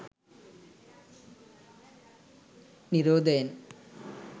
නිරෝධයෙන්